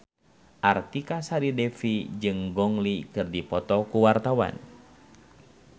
Artika Sari Devi jeung Gong Li keur dipoto ku wartawan